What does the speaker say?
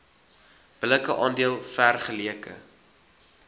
billike aandeel vergeleke